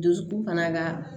Dusukun fana ka